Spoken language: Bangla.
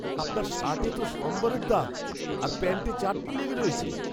আপনার শার্টে তো সম্বরের দাগ আর প্যান্টে চাটনি লেগে রয়েছে!